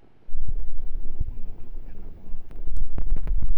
Empukunoto ena ngoroto.